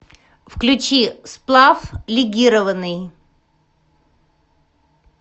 включи сплав легированный